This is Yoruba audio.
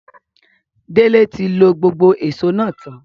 Dele ti lo gbogbo éṣo náa tan